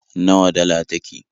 Nawa dala take?